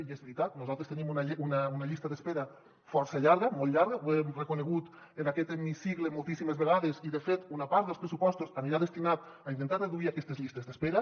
i és veritat nosaltres tenim una llista d’espera força llarga molt llarga ho hem reconegut en aquest hemicicle moltíssimes vegades i de fet una part dels pressupostos anirà destinada a intentar reduir aquestes llistes d’espera